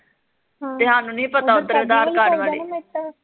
ਤੇ ਸਾਨੂੰ ਨੀ ਸੀ ਪਤਾ ਉੱਧਰ ਅਧਾਰ ਕਾਡ ਵਾਲੀ